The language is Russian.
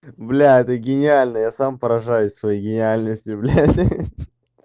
блядь это гениально я сам поражаюсь своей гениальности блядь ха-ха